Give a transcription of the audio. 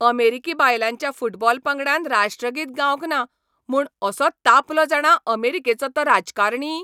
अमेरिकी बायलांच्या फुटबॉल पंगडान राष्ट्रगीत गावंक ना म्हूण असो तापलो जाणा अमेरिकेचो तो राजकारणी!